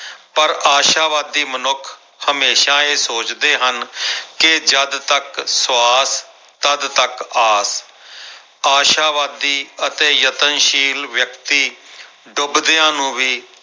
ਪਰ ਆਸ਼ਾਵਾਦੀ ਮਨੁੱਖ ਹਮੇਸ਼ਾ ਇਹ ਸੋਚਦੇ ਹਨ ਕਿ ਜਦ ਤੱਕ ਸਵਾਸ ਤੱਦ ਤੱਕ ਆਸ ਆਸ਼ਾਵਾਦੀ ਅਤੇ ਯਤਨਸ਼ੀਲ ਵਿਅਕਤੀ ਡੁਬਦਿਆਂ ਨੂੰ ਵੀ